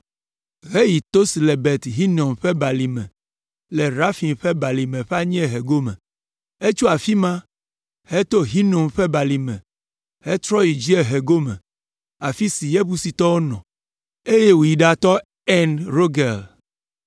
heyi to si le Ben Hinom ƒe Balime le Refaim ƒe balime ƒe anyiehe gome. Etso afi ma, heto Hinom ƒe balime hetrɔ yi dziehe gome, afi si Yebusitɔwo nɔ, eye wòyi ɖatɔ En Rogel.